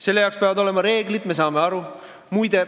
Selle jaoks peavad olema reeglid, me saame aru.